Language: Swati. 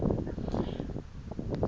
bhimbidvwane